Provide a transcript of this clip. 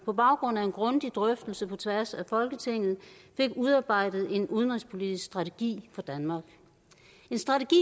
på baggrund af en grundig drøftelse på tværs af folketinget fik udarbejdet en udenrigspolitisk strategi for danmark en strategi